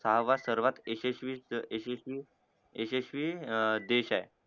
सहावा सर्वात यशस्वी यशस्वी यशस्वी यशस्वी अं देशये